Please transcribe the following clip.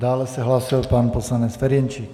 Dále se hlásil pan poslanec Ferjenčík.